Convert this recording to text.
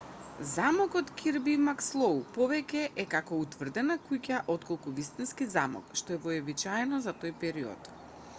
замокот кирби макслоу повеќе е како утврдена куќа отколку вистински замок што е вообичаено за тој период